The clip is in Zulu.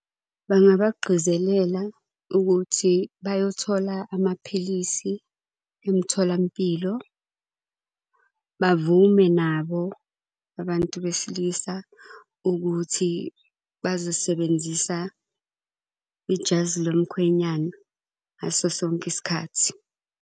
Bangabagqizelela ukuthi bayothola amaphilisi emtholampilo. Bavume nabo abantu besilisa ukuthi bazosebenzisa ijazi lomkhwenyana ngaso sonke isikhathi.